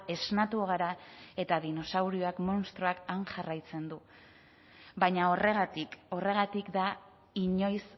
esnatu gara eta dinosaurioak munstroak han jarraitzen du baina horregatik horregatik da inoiz